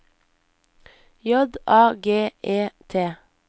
J A G E T